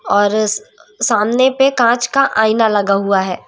और सामने पे कांच का आईना लगा हुआ है।